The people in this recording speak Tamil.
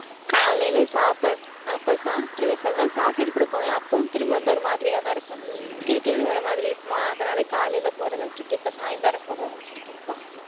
காலையில சாப்பிட்~ அப்ப சாப்பிட்டுருவேன் சில நாள் சாப்பிட்டுட்டு கூட போவேன். அப்பவும், திரும்பி வந்தா ஒரு மாதிரியாதான் இருக்கும் கிறு கிறுன்னு வர மாதிரி இருக்குமா, அதனால காலையில போறதை விட்டுட்டு, இப்ப சாயந்தரம் போக ஆரம்பிச்சிருக்கேன் அக்கா.